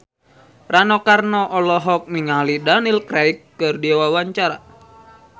Rano Karno olohok ningali Daniel Craig keur diwawancara